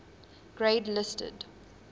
grade listed